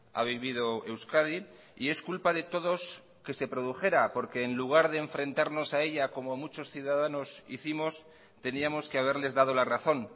ha vivido euskadi y es culpa de todos que se produjera porque en lugar de enfrentarnos a ella como muchos ciudadanos hicimos teníamos que haberles dado la razón